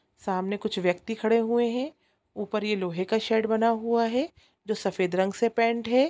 सामने कुछ व्यक्ति खड़े हुए है ऊपर ये लोहे का शेड बना हुआ है जो सफेद रंग से पेंट है।